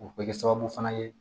O bɛ kɛ sababu fana ye